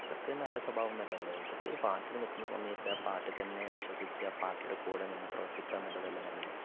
ഇതൊക്കെ നല്ല സ്വഭാവമല്ലല്ലോ ഇതൊക്കെ ഒരു പാർട്ടിയിൽ നിൽക്കുന്ന സമയത്ത് ആ പാർട്ടിയിൽ തന്നെ വിശ്വസിച്ച് ആ പാർട്ടിയുടെ കൂടെനിന്ന് പ്രവർത്തിക്കാന്നുള്ളതല്ലേ നല്ലത്